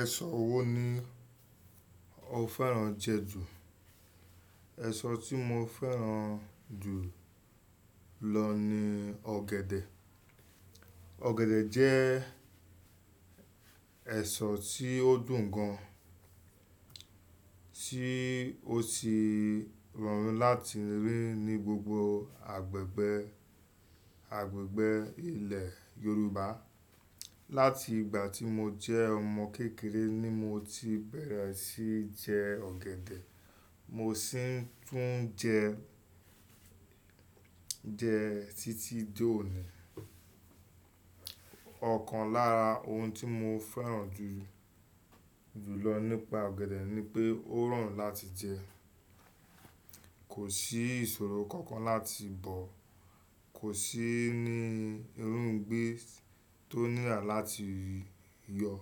Ẹ̀ṣọ́ wo ni o fẹ́ràn jẹ jù? Èso tí mo fẹ́ràn jù lọ ni ọ̀gẹ̀dẹ̀. Ọ̀gẹ̀dẹ̀ jẹ́ ẹ̀ṣọ́ tí ó dùn gan, tí ó sì rọrùn láti rí ní gbogbo agbègbè, agbègbè ilẹ̀ Yorùbá. Láti ìgbà tí mo jẹ́ ọmọ kékeré ni mo ti bẹ̀rẹ̀ sí jẹ ọ̀gẹ̀dẹ̀, mo sì tún n jẹ, jẹ títí dòní. Ọ̀kan lára ohun tí mo fẹ́ràn jù, jù lọ nípa ọ̀gẹ̀dẹ̀ ni pé ó rọrùn láti jẹ. Kò sí ìṣòro kankan láti bọ̀, kò sí ni irúgbìn tó nírà láti yọ.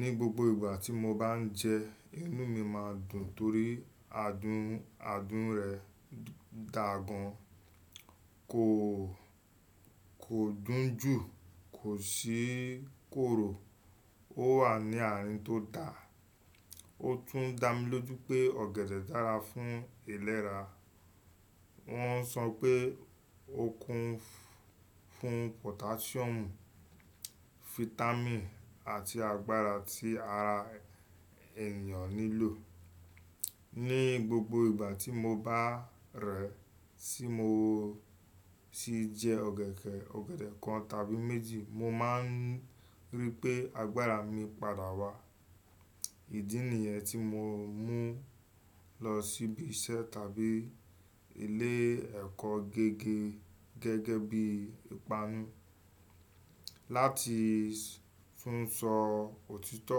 Ni gbogbo ìgbà tí mo bá n jẹ, inú mi máa dùn torí adùn, adùn rẹ̀ dáa gan. Kò, kò dùn jù, kò sì korò. Ó wà ní àárín tó dá ó tún dá mi lójú pé ọ̀gẹ̀dẹ̀ dára fún ìlera. Wọ́n sọ pé ó kún fún pottasium, vitamin àti agbára tí ara ènìyàn nílò ní gbogbo ìgbà tí mo bá rẹ̀, tí mo sì jẹ ọ̀gẹ̀dẹ̀, ọ̀gẹ̀dẹ̀ kan tàbí méjì, mo máa n rí pé agbára mi padà wá. Ìdí nìyẹn tí mo ń mú lọ síbi iṣẹ́ tàbí ilé ẹ̀kọ́ gẹ́gẹ́, gẹ́gẹ́ bí ìpanu. Láti tún sọ òtítọ́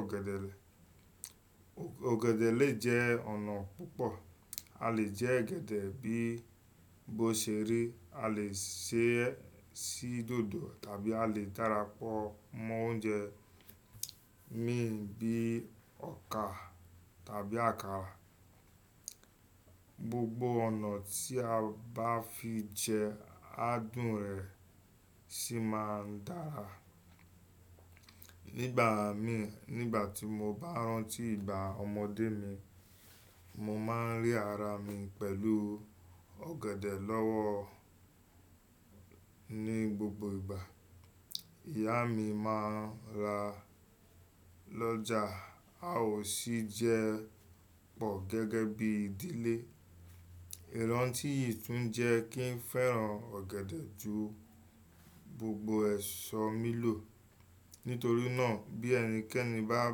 ọ̀gẹ̀dẹ̀ rẹ̀, ọ̀gẹ̀dẹ̀ le jẹ́ ọ̀nà púpọ̀. A le jẹ ọ̀gẹ̀dẹ̀ bí bó ṣe rí, a le sè é sí dòdò tàbí a le darapọ̀ mọ́ oúnjẹ miìn bí i ọkà tàbí àkàrà. Gbogbo ọ̀nà tí a bá fi jẹ ẹ, adùn rẹ̀ sì máa n dára. Nígbà mí, nígbà tí mo bá rántí ìgbà ọmọdé mi, mo máa n rí ara mi pẹ̀lú ọ̀gẹ̀dẹ̀ lọ́wọ́. Ní gbogbo ìgbà, ìyá mi máa n rà lọ́jà. A ò sì jẹ pọ̀ gẹ́gẹ́ bí ìdílé. Ìrántí yìí tún jẹ́ kí n fẹ́ràn ọ̀gẹ̀dẹ̀ jù gbogbo ẹ̀ṣọ́ mí lò. Nítorí náà bí ẹnikẹ́ni bá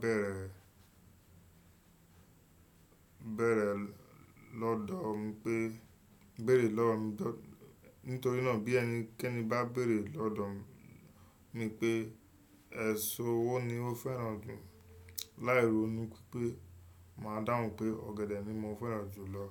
bẹ̀rẹ̀, bẹ̀rẹ̀ lọ́dọ̀ mi pé, béèrè lọ́dọ-- nítorí náà bí ẹnikẹ́ni bá béèrè lọ́dọ̀ mi pé ẹ̀ṣọ́ wo ni o fẹ́ràn jù, láìronú pé máa dáhùn pé ọ̀gẹ̀dẹ̀ ni mo fẹ́ràn jù lọ.